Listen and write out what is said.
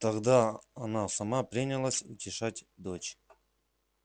тогда она сама принялась утешать дочь